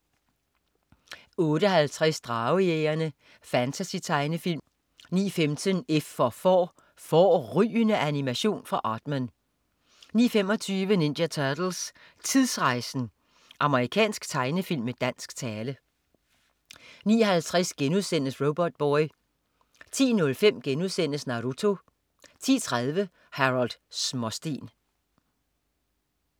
08.50 Dragejægerne. Fantasy-tegnefilm 09.15 F for Får. Fårrygende animation fra Aardman 09.25 Ninja Turtles: Tidsrejsen! Amerikansk tegnefilm med dansk tale 09.50 Robotboy* 10.05 Naruto* 10.30 Harold Småsten